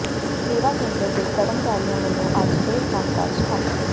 ਸੇਵਾ ਕੇਂਦਰ ਦੇ ਕਰਮਚਾਰੀਆਂ ਵਲੋਂ ਅੱਜ ਫਿਰ ਕੰਮਕਾਜ ਠੱਪ